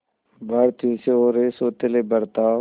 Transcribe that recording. भारतीयों से हो रहे सौतेले बर्ताव